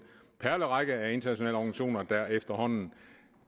perlerække af internationale organisationer der efterhånden